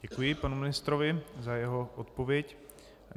Děkuji panu ministrovi za jeho odpověď.